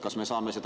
Kas me saame seda …